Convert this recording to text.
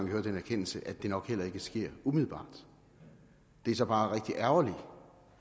hører den erkendelse at det nok heller ikke sker umiddelbart det er så bare rigtig ærgerligt